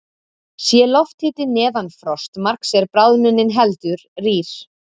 Sé lofthiti neðan frostmarks er bráðnunin heldur rýr.